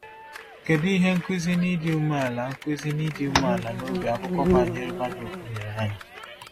Kedu ihe nkuzi n’ịdị umeala nkuzi n’ịdị umeala n’obi akụkọ banyere Baruk nyere anyị?